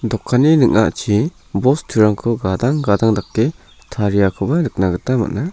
dokanni ning·achi bosturangko gadang gadang dake tariakoba nikna gita man·a.